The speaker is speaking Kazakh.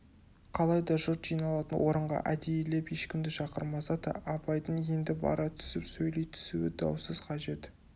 қалайда жұрт жиналатын орынға әдейілеп ешкімді шақырмаса да абайдың енді бара түсіп сөйлей түсуі даусыз қажет